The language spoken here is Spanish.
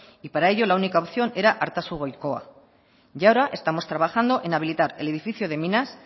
y para ello la única opción era artazu goikoa y ahora estamos trabajando en habilitar el edificio de minas